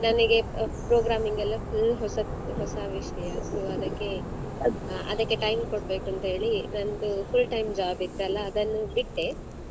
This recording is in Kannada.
ಮತ್ತೆ ನನಿಗೆ programming ಎಲ್ಲ full ಹೊಸತ್ ಹೊಸ ವಿಷಯ so ಅದಕ್ಕೆ time ಕೊಡ್ಬೇಕಂತ ಹೇಳಿ ನಂದು full time job ಇತ್ತಲ್ಲ ಅದನ್ನು ಬಿಟ್ಟೆ.